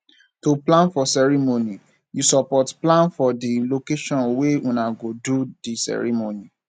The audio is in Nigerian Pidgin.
to plan for ceremony you support plan for di location wey una go do di ceremony